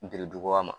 Biriduga ma